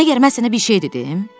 Məgər mən sənə bir şey dedim?